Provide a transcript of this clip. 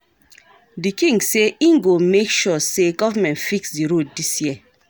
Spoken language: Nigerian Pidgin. Di king sey im go make sure sey government fix di road dis year.